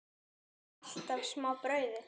Eða alltaf smá brauði?